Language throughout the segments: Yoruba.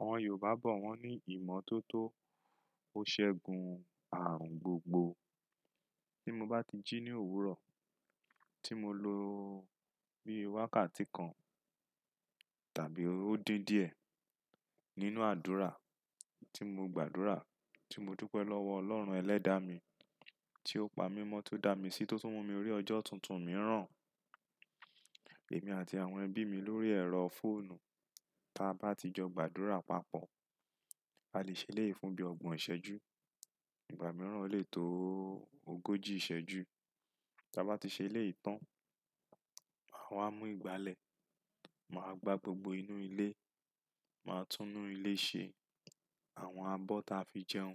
Àwọn Yorùbá bọ̀ wọ́n ní ìmọ́tótó. Ó ṣẹ́gun ààrùn gbogbo. Tí mo bá ti jí ní òwúrọ̀, tí mo lo bíi wákàtí kan tàbí ó dín díẹ̀ nínú àdúrà, tí mo gbàdúrà, tí mo dúpẹ́ lọ́wọ́ Ọlọ́run ẹlẹ́dàá mi, tí ó pa mímọ́ tó dá mi sí tó tún mú mi rí ọjọ́ tuntun mìíràn. Èmi àti àwọn ẹbí mi lórí ẹ̀rọ fóònù, tí a bá ti jọ gbàdúrà papọ̀, a lè ṣe eléyìí fún bí ọgbọ̀n ìṣẹ́jú. Ìgbà mìíràn o lè tó ogójì ìṣẹ́jú. Tí a bá ti ṣe eléyìí tàn, màá wá mú ìgbálẹ̀, màá gbá gbogbo inú ilé, màá tún inú ilé ṣe. Àwọn abọ́ ta fi jẹun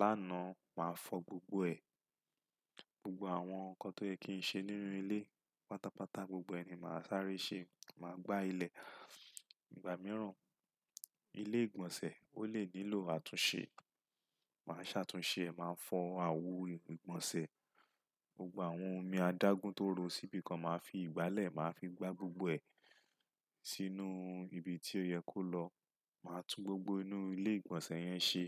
lánàá, màá fọ̀ gbogbo ẹ. Gbogbo àwọn ǹkan tó yẹ kí n ṣe nínú ilé, pátápátá gbogbo ẹ ni màá sáré ṣe. Màá gbá ilẹ̀. Ìgbà mìíràn, ilé ìgbọ̀nsẹ̀ ó lè nílò àtúnṣe. Màá ṣàtúnṣe ẹ, màá fọ́ àwo ìgbọ̀nsẹ̀. Gbogbo àwọn omi adágún tó ro síbi kan, màá fi ìgbálẹ̀, màá fi gbá gbogbo ẹ sínú ibi tí ó yẹ kó lọ. Màá tú gbogbo inú ilé ìgbọ̀nsẹ̀ yẹn ṣe.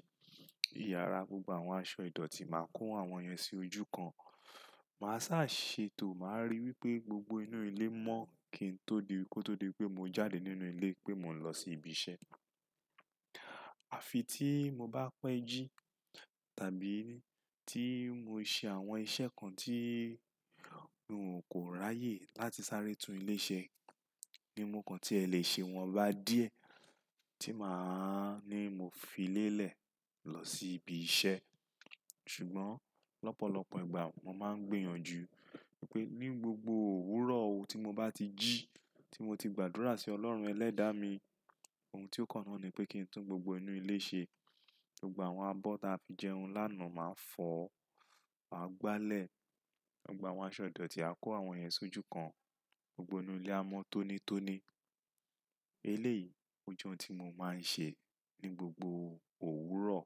Ìyára, gbogbo àwọn aṣọ ìdọ̀tí, màá kó àwọn yẹn sí ojú kan. Màá sá ṣe tò, màá rí wípé gbogbo inú ilé mọ́ kí n tó di wípé mo jáde nínú ilé pé mo ń lọ sí ibi iṣẹ́. Àfi tí mo bá pẹ́ jí tàbí tí mo ṣe àwọn iṣẹ́ kan tí n ò kó ráyè láti sáré tún ilé ṣe. Ní mo kan tí ẹ lè ṣe wọ́n bá díẹ̀ tí màá ní mo fi lélẹ̀ lọ sí ibi iṣẹ́. Ṣùgbọ́n lọ́pọ̀lọpọ̀ ìgbà mo máa ń gbìyànjú wípé ní gbogbo òwúrọ̀ tí mo bá ti jí, tí mo ti gbàdúrà sí Ọlọ́run ẹlẹ́dàá mi, ohun tí ó kan náà ni pé kí n tún gbogbo inú ilé ṣe. Gbogbo àwọn abọ́ ta fi jẹun lánàá màá fọ̀, màá gbálẹ̀. Gbogbo àwọn aṣọ ìdọ̀tí a kó àwọn yẹn sí ojú kan. Gbogbo inú ilé a mọ́ tónítóní. Eléyìí ó jẹ́ ohun tí mo máa ń ṣe ní gbogbo òwúrọ̀.